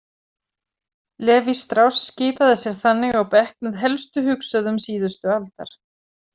Lévi-Strauss skipaði sér þannig á bekk með helstu hugsuðum síðustu aldar.